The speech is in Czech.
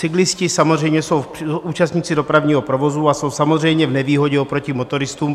Cyklisté samozřejmě jsou účastníci dopravního provozu a jsou samozřejmě v nevýhodě oproti motoristům.